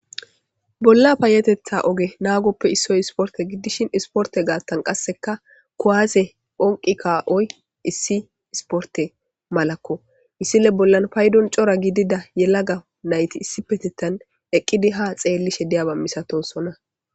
bolla payetetha oge naagoppe Issoy isporte giddishin isporte gaattan qasseka kuwaaze phonqi kaa7oy issi isporte malakko issile bollan paydon cora gidida yelaga nayti issi petetan eqqidi ha xeellishe diyaba misatosona.